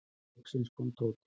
Loks kom Tóti.